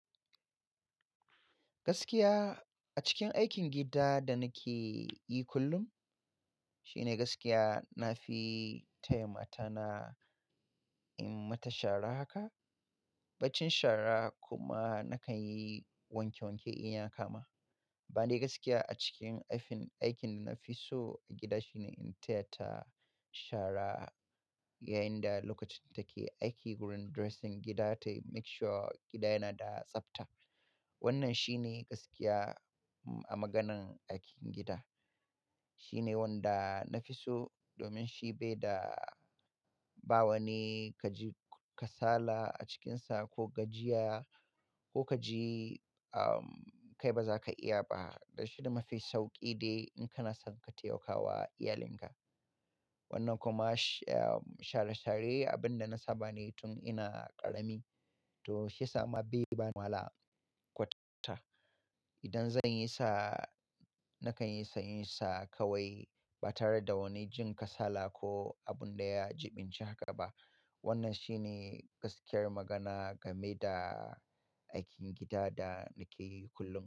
Gaskiya a cikin aikin gida da nake yi kullum, shine gaskiya na fi taya mata na in mata shara haka, bacin shara kuma nakan yi wanke-wanke in ya kama. Ban da gaskiya a cikin aikin, aikin da na fi so a gida shine in taya ta shara yayin da lokacin take aiki wurin dressing gida ta yi make sure gida yana da tsafta. Wannan shine gaskiya a maganan aikin gida. Shine wanda na fi so domin shi bai da bawani ka ji kasala a cikinsa ko gajiya ko ka ji, ah, kai baza ka iya ba. Dan shi da mafi sauƙi ne in kana son ka taimakawa iyalinka. Wannan kuma, share-share abin da na saba ne tun ina ƙarami. To shi ya sa ma bai bani wahala kwata. Idan zan yisa, nakan yisa in yisa kawai ba tare da wani jin kasala ko abin da ya jiɓinci haka ba. Wannan shine gaskiyar magana game da aikin gida da nake yi kullum.